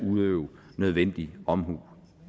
udøve nødvendig omhu